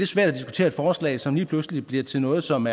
svært at diskutere et forslag som lige pludselig bliver til noget som